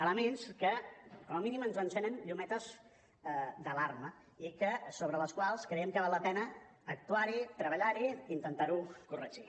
elements que com a mínim ens encenen llumetes d’alarma i que sobre els quals creiem que val la pena actuar hi treballar hi i intentar ho corregir